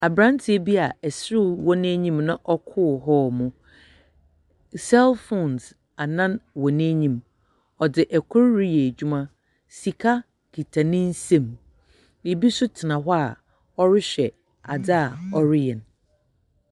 Abranteɛ bi a ɛserew wɔ n'anim na ɔkoro hɔl mu. Sɛl fones annan wɔ n'anim. Ɔde ɛkoro reyɛ adwuma. Sika kita ne nsam. Biribi nso tena hɔ a ɔrehwɛ adze a ɔreyɛ no.